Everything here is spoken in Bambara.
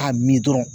A mi dɔrɔn